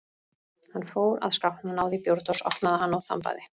Hann fór að skápnum og náði í bjórdós, opnaði hana og þambaði.